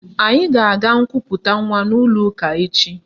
Anyị ga-aga nkuputa nwa n'ụlọụka echi